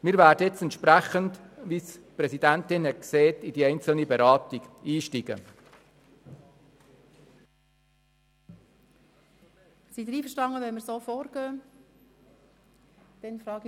Wir werden nun in die Detailberatung einsteigen, wie die Präsidentin vorgeschlagen hat.